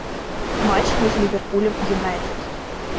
матч между ливерпулем юнайтед